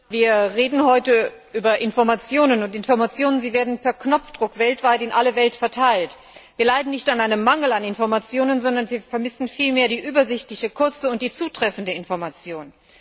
Herr Präsident! Wir reden heute über Informationen, und Informationen werden per Knopfdruck in alle Welt verteilt. Wir leiden nicht an einem Mangel an Informationen, sondern wir vermissen vielmehr die übersichtliche, kurze und zutreffende Information.